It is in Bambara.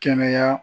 Kɛnɛya